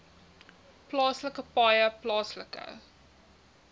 plaaslike paaie plaaslike